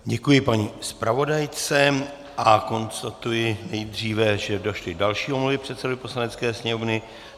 Děkuji paní zpravodajce a konstatuji nejdříve, že došly další omluvy předsedovi Poslanecké sněmovny.